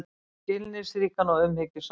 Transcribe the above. Skilningsríkan og umhyggjusaman.